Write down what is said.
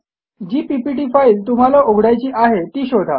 जी PPT file तुम्हाला उघडायची आहे ती शोधा